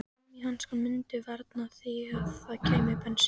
Gúmmíhanskarnir mundu varna því að það kæmi bensín